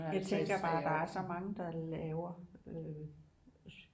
Jeg tænker bare der er så mange der laver